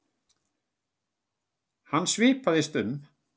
Hann svipaðist um.